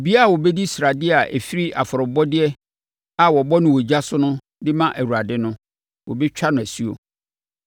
Obiara a ɔbɛdi sradeɛ a ɛfiri afɔrebɔdeɛ a wɔbɔ no ogya so de ma Awurade no, wɔbɛtwa no asuo.